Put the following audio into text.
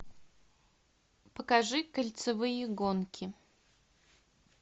покажи кольцевые гонки